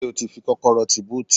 Ṣé ó ti fi kọ́kọ́rọ́ tí búùtì?